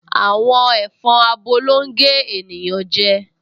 Àwọn ẹ̀fọn abo ló ń gé ènìyàn jẹ